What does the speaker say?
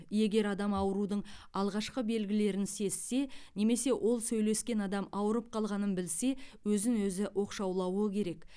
егер адам аурудың алғашқы белгілерін сезсе немесе ол сөйлескен адам ауырып қалғанын білсе өзін өзі оқшаулауы керек